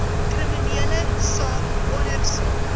kriminele saak ondersoek